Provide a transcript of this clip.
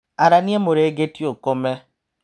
Arania mũrengeti ũkome.